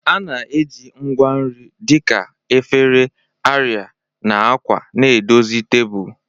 A na-eji ngwa nri dị ka efere, arịa, na akwa na-edozi tebụl.